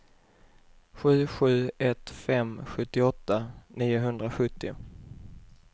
sju sju ett fem sjuttioåtta niohundrasjuttio